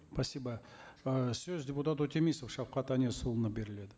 спасибо ы сөз депутат өтемісов шавқат әнесұлына беріледі